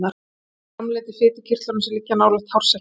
Olían er framleidd í fitukirtlum sem liggja nálægt hársekkjunum.